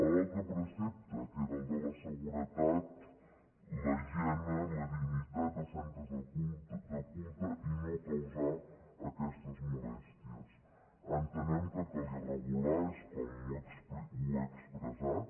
l’altre precepte que era el de la seguretat la higiene i la dignitat dels centres de culte i no causar aquestes molèsties entenem que calia regular ho és com ho he expressat